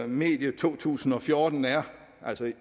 medio to tusind og fjorten er